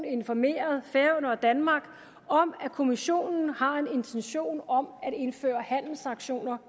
informeret færøerne og danmark om at kommissionen har en intention om at indføre handelssanktioner